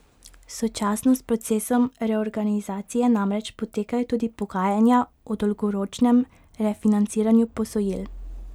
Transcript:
Sočasno s procesom reorganizacije namreč potekajo tudi pogajanja o dolgoročnem refinanciranju posojil.